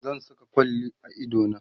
zan Saka kwalli a idona